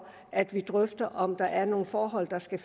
at vi drøfter om der er nogle forhold der skal